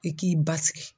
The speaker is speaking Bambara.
I k'i basigi